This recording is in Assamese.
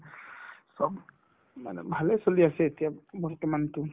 চব মানে ভালে চলি আছে এতিয়া বৰ্তমানতো